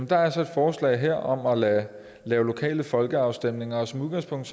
der er så et forslag her om at lave lave lokale folkeafstemninger og som udgangspunkt